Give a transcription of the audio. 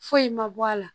Foyi ma bɔ a la